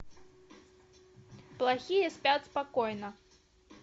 плохие спят спокойно